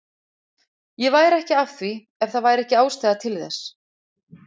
Ég væri ekki að því ef það væri ekki ástæða til þess.